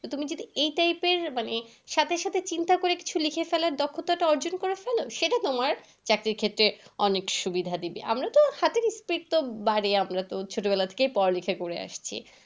তুমি যদি এই type এর মানে সাথে সাথে চিন্তা করে কিছু লিখে ফেলার দক্ষতাটা অর্জন করে ফেল। সেটা তোমার চাকরির ক্ষেত্রে অনেক সুবিধা দেবে। আমরা তো হাতের speed তো বাড়ে। আমরা তো ছোট বেলা থেকেই পড়া লেখা করে আসছি।